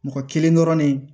Mɔgɔ kelen dɔrɔn ne